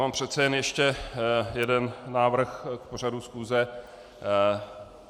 Mám přece jen ještě jeden návrh k pořadu schůze.